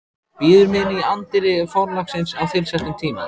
Bíður mín í anddyri forlagsins á tilsettum tíma.